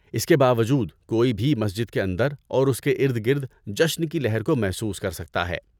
اس کے باوجود کوئی بھی مسجد کے اندر اور اس کے ارد گرد جشن کی لہر کو محسوس کر سکتا ہے۔